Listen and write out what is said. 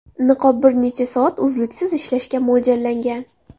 Niqob bir necha soat uzluksiz ishlashga mo‘ljallangan.